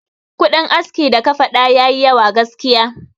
Kudin aski da ka faɗa yayi yawa gaskiya.